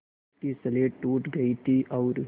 उसकी स्लेट टूट गई थी और